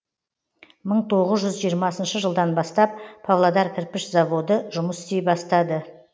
мың тоғыз жүз жиырмасыншы жылдан бастап павлодар кірпіш заводы жұмыс істей бастады